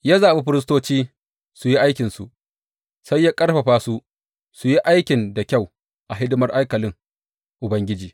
Ya zaɓi firistoci su yi aikinsu, sai ya ƙarfafa su su yi aikin da kyau a hidimar haikalin Ubangiji.